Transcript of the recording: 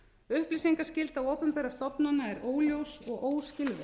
upplýsingaskylda opinberra stofnana er óljós og óskilvirk